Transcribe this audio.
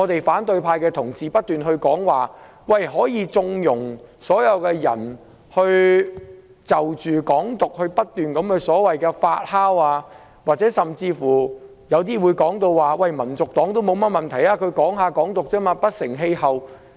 反對派議員不斷說可以縱容"港獨"不斷發酵，有些議員甚至說香港民族黨也沒甚麼問題，只是談談"港獨"，不成氣候。